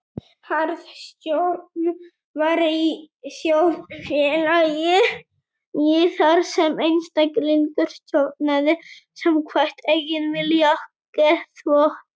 Harðstjórn væri í þjóðfélagi þar sem einstaklingur stjórnaði samkvæmt eigin vilja og geðþótta.